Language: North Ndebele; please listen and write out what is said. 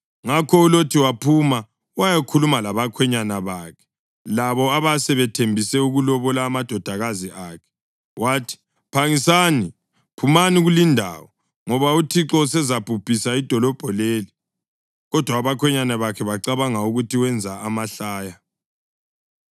Ngakho uLothi waphuma wayakhuluma labakhwenyana bakhe, labo abasebethembise ukulobola amadodakazi akhe. Wathi, “Phangisani, phumani kulindawo, ngoba uThixo usezalibhubhisa idolobho leli!” Kodwa abakhwenyana bakhe bacabanga ukuthi wenza amahlaya.